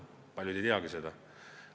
Paljud ei teagi seda.